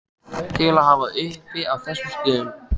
til að hafa uppi á þessum stöðum.